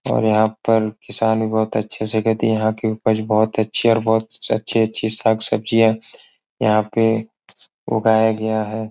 और यह पर किसान ने बोहोत अच्छे से खेती यह की उपज भी बोहोत अच्छी है और बोहोत अच्छी-अच्छी सब्जिया यहां पे उगाया गया है।